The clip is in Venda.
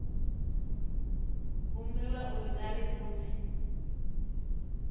humbelwa uri vha ri vhudze